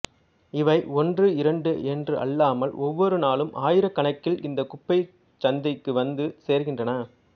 இவை ஒன்று இரண்டு என்று அல்லாமல் ஒவ்வொரு நாளும் ஆயிரக்கணக்கில் இந்த குப்பைச் சந்தைக்கு வந்து சேர்கின்றன